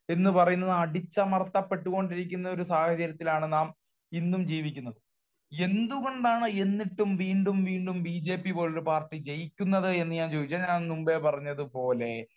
എന്ന് പറയുന്നത് അടിച്ചമർത്തപ്പെട്ടുകൊണ്ടിരിക്കുന്ന ഒരു സാഹചര്യത്തിലാണ് നാം ഇന്നും ജീവിക്കുന്നത്. എന്തുകൊണ്ടാണ് എന്നിട്ട് വീണ്ടും വീണ്ടും ബി ജെ പി പോലുള്ള പാർട്ടി ജയിക്കുന്നത് എന്ന് ഞാൻ ചോദിച്ചാൽ ഞാൻ മുമ്പേ പറഞ്ഞത് പോലെ